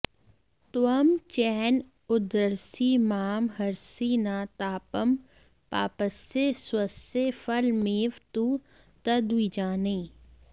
त्वं चेन्न उद्धरसि मां हरसि न तापं पापस्य स्वस्य फलमेव तु तद्विजाने